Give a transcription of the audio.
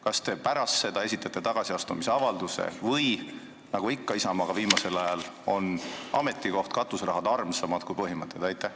Kas te pärast seda esitate tagasiastumisavalduse või on ametikoht ja katuserahad armsamad kui põhimõtted, nagu ikka Isamaale viimasel ajal?